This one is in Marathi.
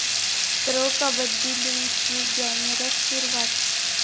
प्रो 'कबड्डी' लीगची ग्लॅमरस सुरुवात